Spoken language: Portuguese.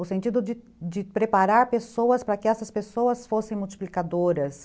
O sentido de de preparar pessoas para que essas pessoas fossem multiplicadoras.